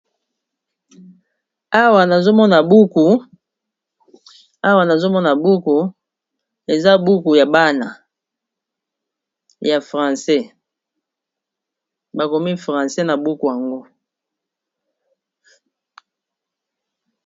Awa nazomona buku eza buku ya bana ya francais bakomi francais na buku yango.